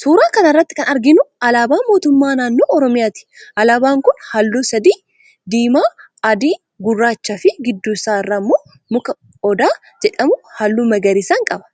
Suuraa kana irratti kan arginu alaabaa mootummaa naannoo oromiyaati. Alaabaan kun halluu sadi, diimaa, adii, gurraacha fi gidduu isaa irraa muka odaa jedhamu halluu magariisan qaba.